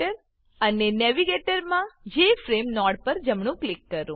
અને navigator navigator માં J F R M E JFrame node પર જમણું ક્લિક કરો